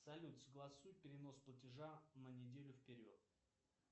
салют согласуй перенос платежа на неделю вперед